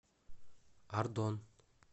ардон